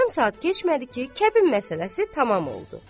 Yarım saat keçmədi ki, kəbin məsələsi tamam oldu.